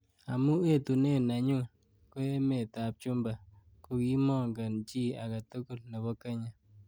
Amu etunen nenyu ko emet ab chumba kokimoongen chi age tukul nebo Kenya.